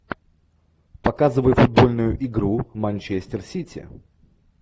показывай футбольную игру манчестер сити